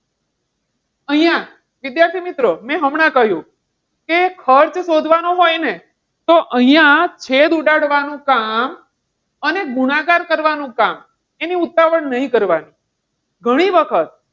અહીંયા વિદ્યાર્થી મિત્રો મેં હમણાં કહ્યું કે ખર્ચ શોધવાનો હોય ને તો અહીંયા છેદ ઉડાડવાનું કામ અને ગુણાકાર કરવાનું કામ એની ઉતાવળ નહીં કરવાની. ઘણી વખત,